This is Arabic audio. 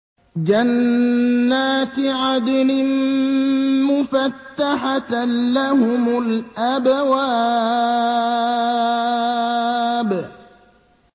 جَنَّاتِ عَدْنٍ مُّفَتَّحَةً لَّهُمُ الْأَبْوَابُ